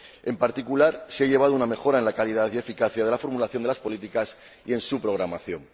En particular, se ha llegado a una mejora en la calidad y eficacia de la formulación de las políticas y en su programación.